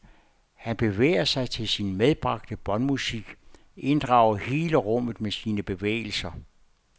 Han bevæger sig til sin medbragte båndmusik, inddrager hele rummet med sine bevægelser.